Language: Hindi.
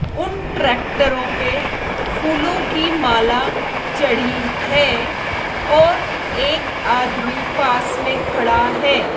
उन ट्रैक्टरों पे फूलों की माला चढ़ी है और एक आदमी पास में खड़ा है।